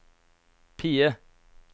PIE